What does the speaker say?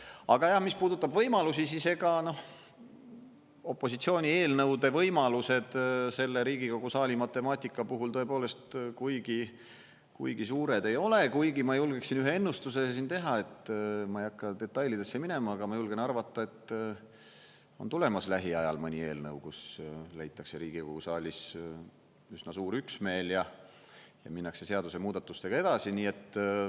Aga mis puudutab võimalusi, siis ega opositsiooni eelnõude võimalused selle Riigikogu saali matemaatika puhul tõepoolest kuigi suured ei ole, kuigi ma julgeksin ühe ennustuse siin teha, ma ei hakka detailidesse minema, aga ma julgen arvata, et on tulemas lähiajal mõni eelnõu, kus leitakse Riigikogu saalis üsna suur üksmeel ja minnakse seadusemuudatustega edasi.